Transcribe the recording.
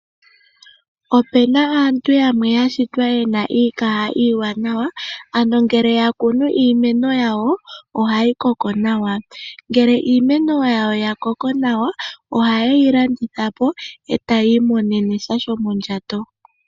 Opena aantu yamwe yashitwa yena iikaha iiwanawa ano ngele yakunu iimeno yawo hayi koko nawa, ngele iimeno yawo yakoko nawa ohayeyi landithapo eta yi imonene sha shomondjato.